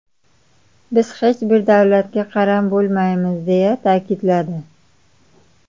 Biz hech bir davlatga qaram bo‘lmaymiz”, deya ta’kidladi.